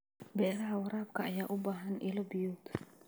Beeraha waraabka ayaa u baahan ilo biyood.